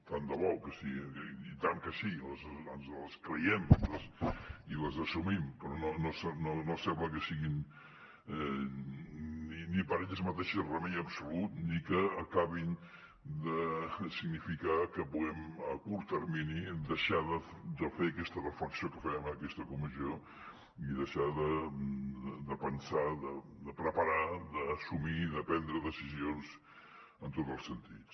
tant de bo que sí i tant que sí ens les creiem i les assumim però no sembla que siguin ni per elles mateixes remei absolut ni que acabin de significar que puguem a curt termini deixar de fer aquesta reflexió que fèiem en aquesta comissió i deixar de pensar de preparar d’assumir i de prendre decisions en tots els sentits